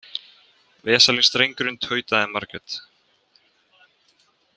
Veslings drengurinn, tautaði Margrét.